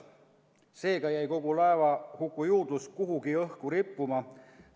Seega jäi kogu laevahuku juurdlus kuhugi õhku rippuma.